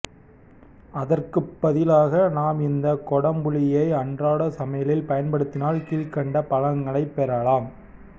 அதற்கு பதிலாக நாம் இந்த கொடம்புளியை அன்றாட சமையலில் பயன்படுத்தினால் கீழ்கண்ட பலன்களை பெறலாம்